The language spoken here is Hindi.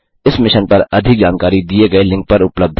इस मिशन पर अधिक जानकारी दिए गए लिंक पर उपलब्ध है